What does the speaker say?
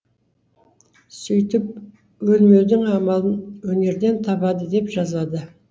сөйтіп өлмеудің амалын өнерден табады деп жазады